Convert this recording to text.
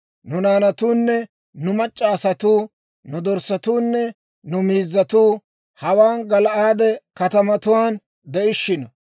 Nu naanatuunne nu mac'c'a asatuu, nu dorssatuunne nu miizzatuu hawaan Gala'aade katamatuwaan de'ishshino.